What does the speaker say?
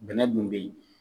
Bɛnɛ dun be yen.